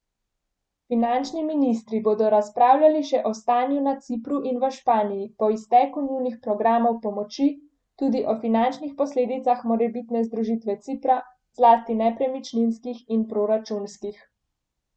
Finančni ministri bodo razpravljali še o stanju na Cipru in v Španiji po izteku njunih programov pomoči, tudi o finančnih posledicah morebitne združitve Cipra, zlasti nepremičninskih in proračunskih.